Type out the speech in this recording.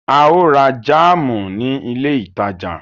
A ó ra jáámù ní ilé ìtajà.